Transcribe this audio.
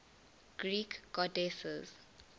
greek goddesses